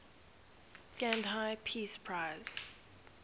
gandhi peace prize